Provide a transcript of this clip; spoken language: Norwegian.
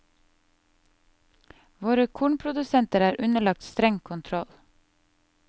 Våre kornprodusenter er underlagt streng kontroll.